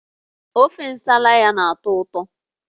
Ofe Nsala ya na-atọ ụtọ